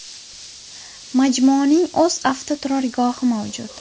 Majmuaning o‘z avtoturargohi mavjud.